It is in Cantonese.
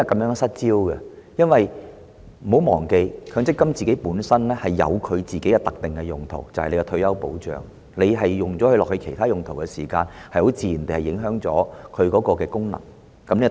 請不要忘記，強積金權益本身有其特定用途，就是作為退休保障，當它作其他用途時，自然會影響它的功能，此其一。